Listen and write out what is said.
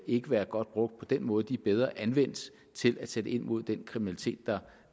ikke være godt brugt på den måde de er bedre anvendt til at sætte ind mod den kriminalitet der